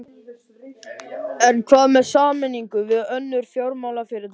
En hvað með sameiningu við önnur fjármálafyrirtæki?